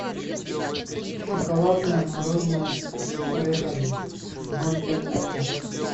шоколадное мороженое с орехами ноль пять граммов